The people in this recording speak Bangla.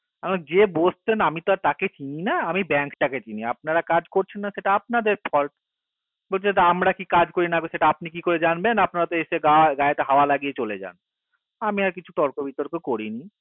যে বসতেন আমি তো তাকে চিনি না আমি bank টাকে চিনি আপনারা কাজ করছেন না সেটা আপনাদের folt বলছে তা আমরা কি কাজ করি না করি সেটা আপনারা কি করে জানবেন আপনারা তো এসে গায়ে হাওয়া লাগিয়ে চলে যান আমি আর বেশি তর্ক বিতর্ক করিনি